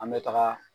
An bɛ taga